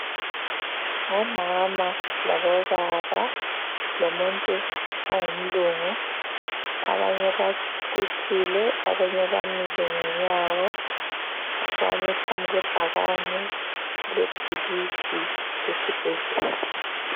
Ngomama labo baba lomuntu ongumlungu abanye banquthile abanye bamile ngenyawo bami phambi kwebhakane elebhilidi elesibhedlela.